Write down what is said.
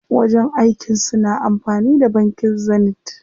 Wajen aikin su na amfani da bankin Zenith.